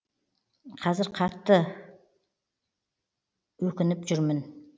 қазір қатты өкініп жүрмін